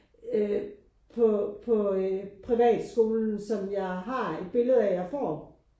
Øh på på privatskolen som jeg har et billede af jeg får